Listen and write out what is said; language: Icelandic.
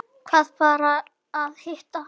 Varð bara að hitta hana.